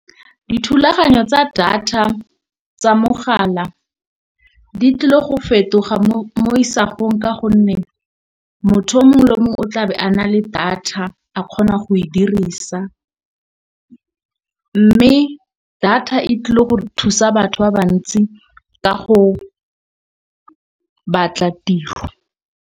Dithulaganyo tsa data tsa mogala di tlile go fetoga mo isagong ka gonne motho o mongwe le mongwe o tlabe a na le data a kgona go e dirisa. Mme data e tlile gore thusa batho ba bantsi ka go batla tiro.